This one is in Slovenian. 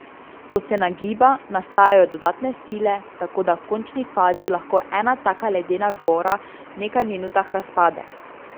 Ko se nagiba, nastajajo dodatne sile, tako da v končni fazi lahko ena taka ledena gora v nekaj minutah razpade.